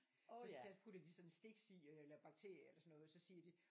Så putter de sådan en sticks i øh eller en bakterie eller sådan noget så siger de